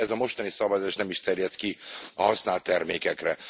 Sőt, ez a mostani szavazás nem is terjed ki a használt termékekre.